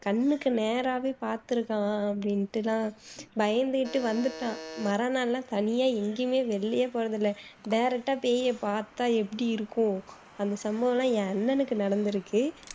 கண்ணுக்கு நேராவே பாத்துருக்கான் அப்படின்னுட்டு எல்லாம் பயந்துட்டு வந்துட்டான் மறாநாள் எல்லாம் தனியா எங்கயுமே வெளிலயே போறது இல்ல direct அ பேயை பாத்தா எப்படி இருக்கும் அந்த சம்பவம் எல்லாம் என் அண்ணனுக்கு நடந்துருக்கு